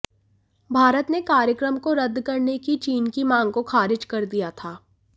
भारत ने कार्यक्रम को रद्द करने की चीन की मांग को खारिज कर दिया था